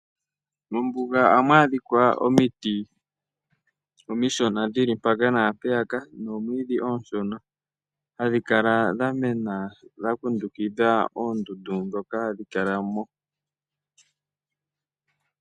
Mombuga ohamu adhika omiti omishona dhi li mpaka naampeyaka nomwiidhi oonshona hadhi kala dha mena dha kundukidha oondundu ndhoka hadhi kala mo.